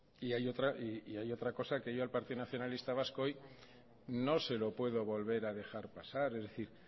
y hay otra cosa que yo al partido nacionalista vasco hoy no se lo puedo volver a dejar pasar es decir